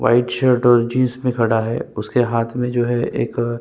white shirt और jeans में खड़ा है उसके हाथ में जो है एक --